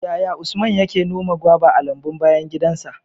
Yaya Usman yake noma goba a lambun bayan gidansa?